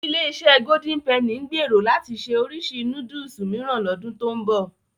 Ilé-iṣẹ́ Golden Penny ń gbèrò láti ṣe oríṣi núdùsù mìíràn lọ́dún tó ń bọ̀.